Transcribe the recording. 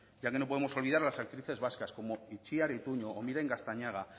ya que no podemos olvidar las actrices vascas como itziar ituño o miren gaztañaga